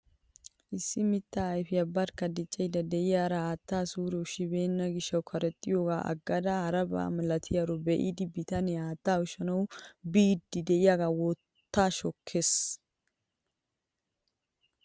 Issi mittaa ayfiyaa barkka diccayda de'iyaara haattaa suure ushshibenna gishshawu karexxiyogaa aggada aariyaaba milatiyaaro be'idi bitanee haattaa ushshanwu biidi de'iyaage wottaa shokkees!